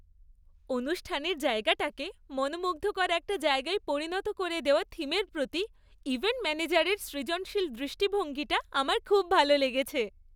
অনুষ্ঠানের জায়গাটাকে মনোমুগ্ধকর একটা জায়গায় পরিণত করে দেওয়া থিমের প্রতি ইভেন্ট ম্যানেজারের সৃজনশীল দৃষ্টিভঙ্গিটা আমার খুব ভালো লেগেছে।